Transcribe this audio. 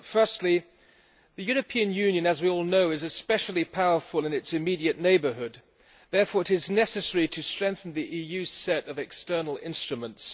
Firstly, the European Union, as we all know, is especially powerful in its immediate neighbourhood. Therefore it is necessary to strengthen the EU's set of external instruments.